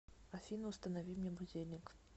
афина установи мне будильник